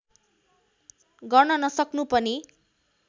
गर्न नसक्नु पनि